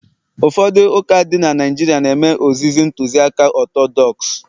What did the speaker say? ụfọdụ ụka dị na Naijiria na-eme ozizi Ntụziaka Ọtọdọks